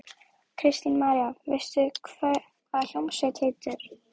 Kristín María: Veistu hvað hljómsveitin heitir?